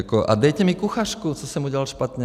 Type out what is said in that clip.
A dejte mi kuchařku, co jsem udělal špatně.